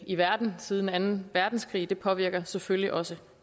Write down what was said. i verden siden anden verdenskrig det påvirker selvfølgelig også